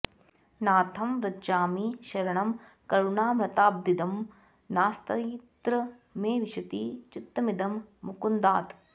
नाथं व्रजामि शरणं करुणामृताब्धिं नास्त्यत्र मे विशति चित्तमिदं मुकुन्दात्